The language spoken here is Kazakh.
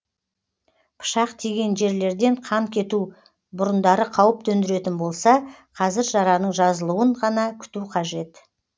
пышақ тиген жерлерден қан кету бұрындары қауіп төндіретін болса қазір жараның жазылуын ғана күту қажет